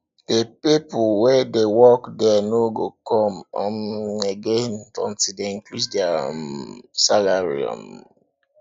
the people wey dey work there no go come um again until dey increase their um salary um